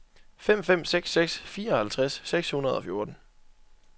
fem fem seks seks fireoghalvtreds seks hundrede og fjorten